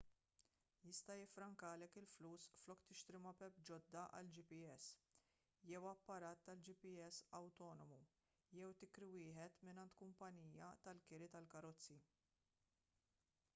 jista' jiffrankalek il-flus flok tixtri mapep ġodda għal gps jew apparat tal-gps awtonomu jew tikri wieħed mingħand kumpanija tal-kiri tal-karozzi